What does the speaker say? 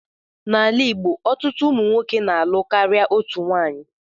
N'ala igbo, ọtụtụ ụmụnwoke na-alụ karịa otu nwanyị